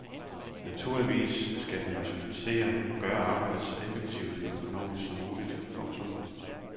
Naturligvis skal de rationalisere og gøre arbejdet så effektivt og økonomisk som muligt. punktum